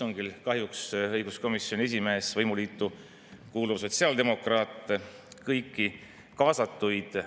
On ju ilmselge, rääkides erinevate huvirühmadega, et ühiskondliku rahu tagaks see, kui ära reguleerida kooselu ja kooselu rakendussätted vastu võtta, nii nagu seda prooviti hoogtöö korras teha 2015.